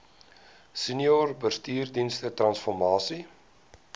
senior bestuursdienste transformasie